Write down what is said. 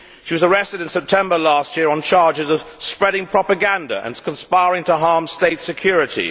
She was arrested in September last year on charges of spreading propaganda and conspiring to harm state security.